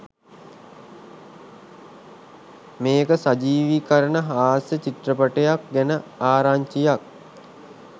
මේක සජීවීකරණ හාස්‍ය චිත්‍රපටයක් ගැන ආරංචියක්.